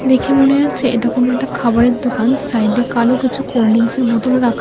দেখে মনে হচ্ছে এটা কোনো একটা খাবারের দোকান সাইডে কালো কিছু কোল্ড্রিংসের বোতলও রাখা।